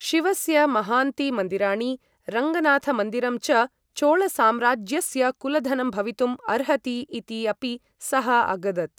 शिवस्य महान्ति मन्दिराणि, रङ्गनाथमन्दिरं च चोळसाम्राज्यस्य कुलधनं भवितुम् अर्हति इति अपि सः अगदत्।